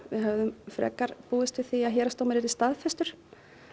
við höfðum frekar búist við því að héraðsdómur yrði staðfestur